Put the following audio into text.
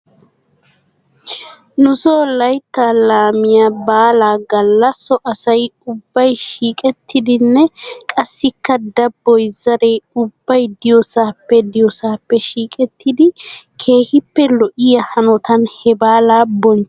Nuso layttaa laamiyaa baalaa galla so asay ubbay shiiqettidinne qassikka dabboy zaree ubbay diyoosaappe diyoosaappe shiiqettide keehippe lo'iyaa hanotan he baalaa bonchchidosona.